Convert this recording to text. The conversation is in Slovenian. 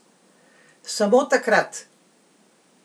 Samo takrat!